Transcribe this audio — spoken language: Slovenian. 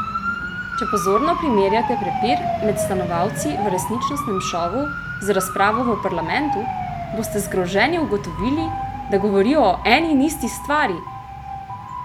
Če pozorno primerjate prepir med stanovalci v resničnostnem šovu z razpravo v parlamentu, boste zgroženi ugotovili, da govorijo o eni in isti stvari!